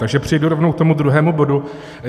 Takže přejdu rovnou k tomu druhému bodu.